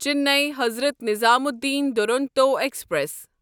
Chennai Hazrat Nizamuddin Duronto express